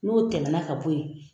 N'o tɛmɛna ka bɔ yen.